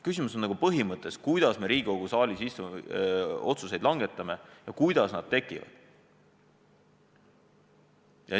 Küsimus on põhimõttes, kuidas me Riigikogu saalis otsuseid langetame, kuidas need tekivad.